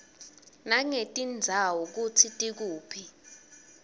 nangetindzawo kutsi tikuphi